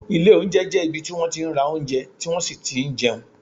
Ilé oúnjẹ jẹ́ ibi tí wọ́n ra oúnjẹ tí wón sì ti n jẹun